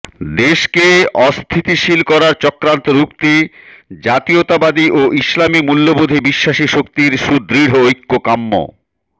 দেশকে অস্থিতিশীল করার চক্রান্ত রুখতে জাতীয়তাবাদী ও ইসলামী মূল্যবোধে বিশ্বাসী শক্তির সুদৃঢ় ঐক্য কাম্য